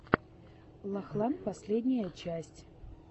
лахлан последняя часть